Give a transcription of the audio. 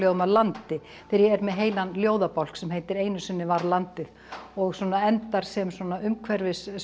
af landi þegar ég er með heilan ljóðabálk sem heitir einu sinni var landið og svona endar sem umhverfis